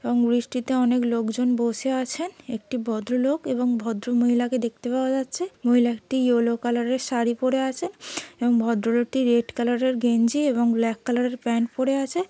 এবং বৃষ্টিতে অনেক লোকজন বসে আছেন। একটি ভদ্রলোক এবং ভদ্র মহিলাকে দেখতে পাওয়া যাচ্ছে। মহিলাটি ইয়েলো কালারের শাড়ি পড়ে আছে এবং ভদ্রলোকটি রেড কালারের গেঞ্জি এবং ব্ল্যাক কালারের প্যান্ট পড়ে আছে।